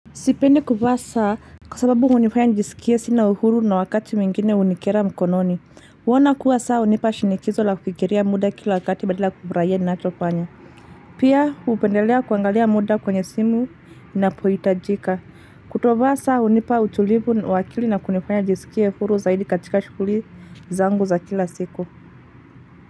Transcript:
Sipendi kuvaa kwa sababu hunifanya njisikie sina uhuru na wakati mwingine hunikera mkononi. Huona kuwa saa hunipa shinikizo la kufikiria muda kila wakati badala kufurahia ninachofanya. Pia hupendelea kuangalia muda kwenye simu inapohitajika. Kutovaa saa hunipa utulivu na uwakili na kunifanya njisikie uhuru zaidi katika shughuli zangu za kila siku.